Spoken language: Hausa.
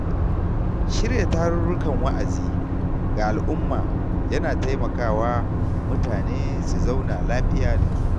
Shirya tarurrukan wa’azi ga al’umma yana taimakawa mutane su zauna lafiya da juna.